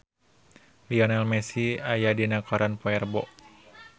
Lionel Messi aya dina koran poe Rebo